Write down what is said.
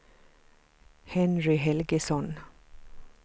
Henry Helgesson